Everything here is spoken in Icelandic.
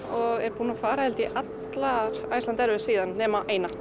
og er búin að fara held ég allar Iceland síðan nema eina